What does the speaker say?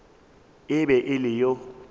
e be e le yo